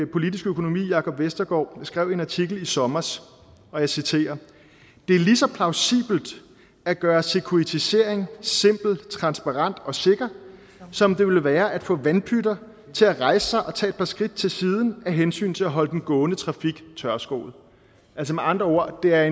politisk økonomi jakob vestergaard skrev i en artikel i sommer og jeg citerer det er lige så plausibelt at gøre securitisering simpelt transparent og sikkert som det vil være at få vandpytter til at rejse sig og tage et par skridt til siden af hensyn til at holde den gående trafik tørskoet med andre ord er